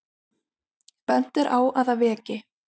Bent er á að það veki